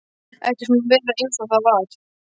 Ekkert má vera einsog það var.